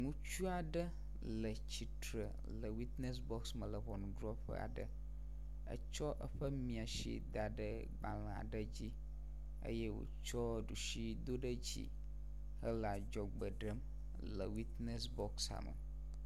Ŋutsu aɖe le tsitre le witness box me le ʋɔnuɖrɔƒe aɖe, etsɔ eƒe mía si da ɖe gbalẽ aɖe dzi eye wotsɔ ɖusi do ɖe dzi hele adzɔgbe ɖem le witness boxa me.